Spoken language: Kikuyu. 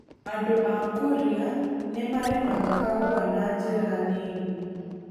Andũ a Kuria nĩ marĩmaga kahũa na njĩra nini.